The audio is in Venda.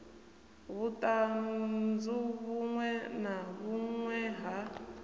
vhuṱanzu vhuṅwe na vhuṅwe ha